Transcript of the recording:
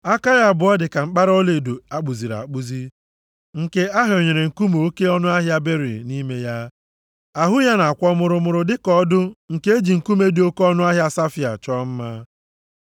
Aka ya abụọ dị ka mkpara ọlaedo a kpụziri akpụzi, nke a hịọnyere nkume oke ọnụahịa beril nʼime ya. Ahụ ya na-akwọ mụrụmụrụ dịka ọdụ nke e ji nkume dị oke ọnụahịa safaia chọọ mma.